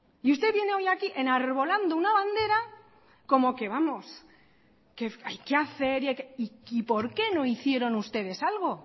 y usted viene hoy aquí enarbolando una bandera como que vamos hay que hacer y por qué no hicieron ustedes algo